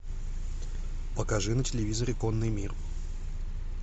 покажи на телевизоре конный мир